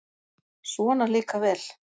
Svona líka vel!